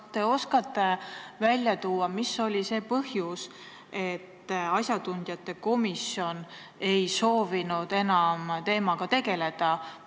Kas te oskate välja tuua, mis oli see põhjus, et asjatundjate komisjon ei soovinud enam teemaga tegeleda?